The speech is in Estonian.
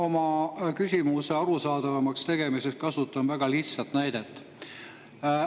Ma oma küsimuse arusaadavamaks tegemiseks kasutan väga lihtsat näidet.